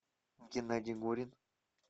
геннадий горин